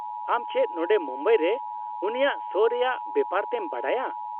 -ᱟᱢ ᱪᱮᱫ ᱱᱚᱰᱮ ᱢᱩᱢᱵᱟᱭ ᱨᱮ ᱩᱱᱤᱭᱟᱜ ᱥᱳ ᱨᱮᱭᱟᱜ ᱵᱮᱯᱟᱨ ᱛᱮᱢ ᱵᱟᱰᱟᱭᱟ ?